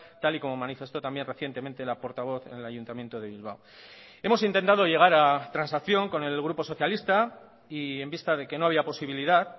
tal y como manifestó también recientemente la portavoz en el ayuntamiento de bilbao hemos intentado llegar a transacción con el grupo socialista y en vista de que no había posibilidad